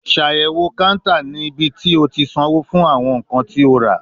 Ṣayẹwo counter ni ibiti o ti sanwo fun awọn nkan ti o ra